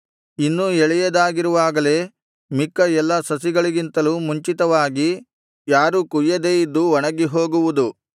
ಇನ್ನೂ ಎಳೆಯದಾಗಿರುವಾಗಲೇ ಮಿಕ್ಕ ಎಲ್ಲಾ ಸಸಿಗಳಿಗಿಂತಲೂ ಮುಂಚಿತವಾಗಿ ಯಾರೂ ಕೊಯ್ಯದೆ ಇದು ಒಣಗಿ ಹೋಗುವುದು